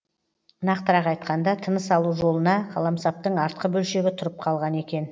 нақтырақ айтқанда тыныс алу жолына қаламсаптың артқы бөлшегі тұрып қалған екен